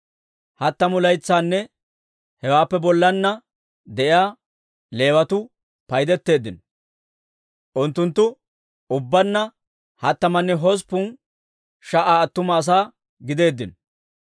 Hattamu laytsanne hewaappe bollanna de'iyaa Leewatuu paydetteeddino; unttunttu ubbaanna hattamanne hosppun sha"a attuma asaa gideeddino.